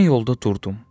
Mən yolda durdum.